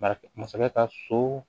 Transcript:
Bari masakɛ ka so